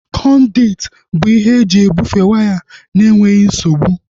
Kọnduit bụ ihe eji ebufee waya na-enweghị nsogbu